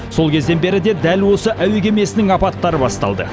сол кезден бері де дәл осы әуе кемесінің апаттары басталды